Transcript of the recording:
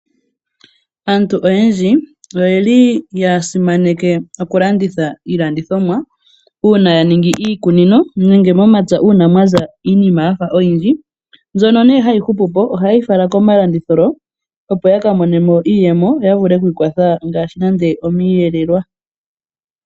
Aantu oyendji ohaya landitha iihape ya wo opo ya vule okwii monenamo iimaliwa ya wo . Ohaya landithile iinima yawo pomatala mpoka hapu kala aantu oyendji haya landa .